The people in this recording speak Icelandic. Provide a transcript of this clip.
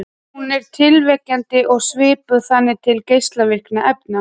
Hún er tilviljunarkennd og svipar þannig til geislavirkni efna.